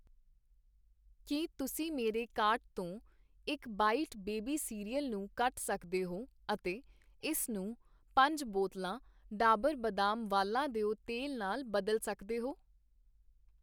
ਕੀ ਤੁਸੀਂ ਮੇਰੇ ਕਾਰਟ ਤੋਂ ਇਕ ਬਾਈਟ ਬੇਬੀ ਕਰਅਲ ਨੂੰ ਕੱਟ ਸਕਦੇ ਹੋ ਅਤੇ ਇਸ ਨੂੰ ਪੰਜ ਬੋਤਲਾਂ ਡਾਬਰ ਬਦਾਮ ਵਾਲਾਂ ਦਿਓ ਤੇਲ ਨਾਲ ਬਦਲ ਸਕਦੇ ਹੋ